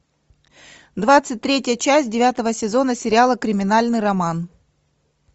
двадцать третья часть девятого сезона сериала криминальный роман